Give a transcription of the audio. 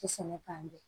sɛnɛ k'an bɛn